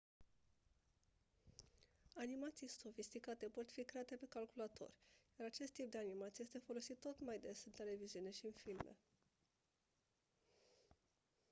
animații sofisticate pot fi create pe calculator iar acest tip de animație este folosit tot mai des în televiziune și în filme